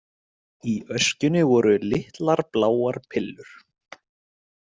Í öskjunni voru litlar, bláar pillur.